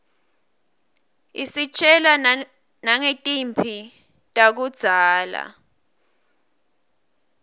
isitjela nangetimphi takudzala